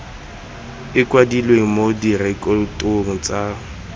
e kwadilwe mo direkotong tsa